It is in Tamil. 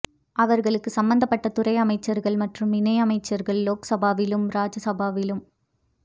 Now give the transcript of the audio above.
அவர்களுக்கு சம்பந்தப்பட்ட துறை அமைச்சர்கள் மற்றும் இணை அமைச்சர்கள் லோக்சபாவிலும் ராஜ்யசபாவிலும்